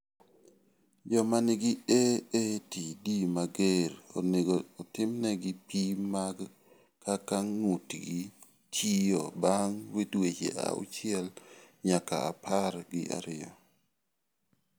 Joma nigi AATD mager onego otimnegi pim mag kaka ng�utgi tiyo bang� dweche auchiel nyaka apar gi ariyo.